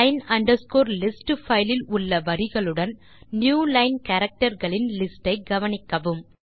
line list file இல் உள்ள வரிகளுடன் நியூலைன் கேரக்டர்ஸ் களின் லிஸ்ட் ஐ கவனிக்கவும்